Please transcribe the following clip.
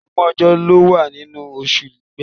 Ọgbọ̀n ọjọ́ ló wà nínú oṣù Igbe.